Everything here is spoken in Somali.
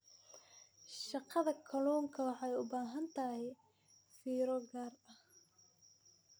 Dhaqashada kalluunka waxay u baahan tahay fiiro gaar ah.